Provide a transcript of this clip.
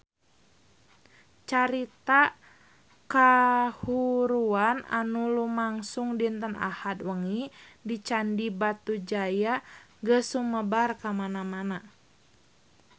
Carita kahuruan anu lumangsung dinten Ahad wengi di Candi Batujaya geus sumebar kamana-mana